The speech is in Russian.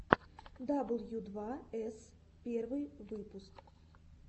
дабл ю два эс первый выпуск